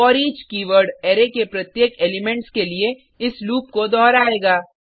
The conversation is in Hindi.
फोरिच कीवर्ड अरै के प्रत्येक एलिमेंट्स के लिए इस लूप को दोहरायेगा